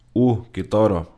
U, kitaro.